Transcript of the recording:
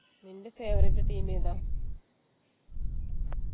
നിൻ്റെ favourite team ഏതാ